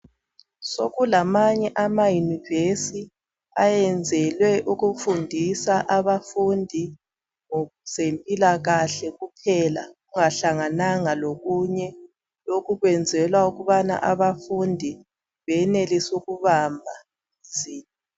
Sokulamanye ama university ayenzelwe ukufundisa abafundi ngokwezempilakahle kuphela kungahlangananga lokunye lokhu kwenzelwa ukubana abafundi benelise ukubamba lula.